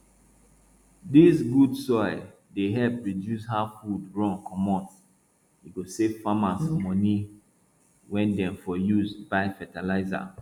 dis good soil dey help reduce how food run comot e go save farmers money wey dem for use buy fertilizer